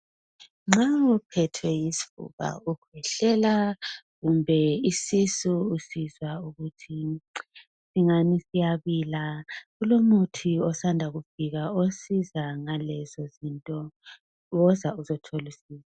Nxa uphethwe yisifuba, ukhwehlela, kumbe isisu, usizwa ukuthi singani siyabila. Kulomuthi osanda kufika. Osiza ngalezo zinto. Woza uzothola usizo.